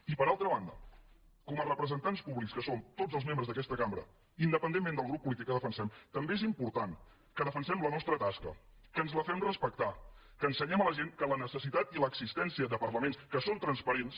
i per altra banda com a representants públics que som tots els membres d’aquesta cambra independentment del grup polític que defensem també és important que defensem la nostra tasca que ens la fem respectar que ensenyem a la gent que la necessitat i l’existència de parlaments que són transparents